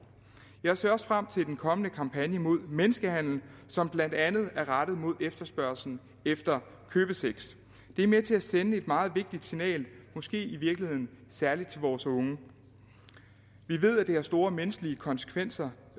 jeg ser også frem til den kommende kampagne mod menneskehandel som blandt andet er rettet mod efterspørgslen efter købesex det er med til at sende et meget vigtigt signal måske i virkeligheden særlig til vores unge vi ved at det har store menneskelige konsekvenser